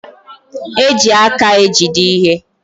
E ji aka ejide ihe.